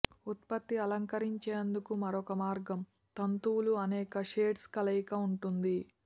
ఉత్పత్తి అలంకరించేందుకు మరొక మార్గం తంతువులు అనేక షేడ్స్ కలయిక ఉంటుంది